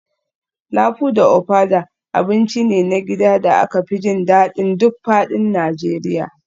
Lafu da ofada abinci ne na gida da aka fi jin daɗin duk faɗin Najeriya